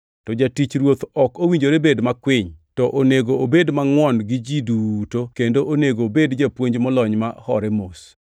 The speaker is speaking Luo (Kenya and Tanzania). To jatich Ruoth ok owinjore bed makwiny, to onego obed mangʼwon gi ji duto kendo onego obed japuonj molony ma hore mos.